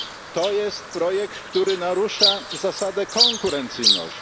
To jest projekt, który narusza zasadę konkurencyjności.